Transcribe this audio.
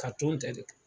Ka tɔn tɛ de kɛ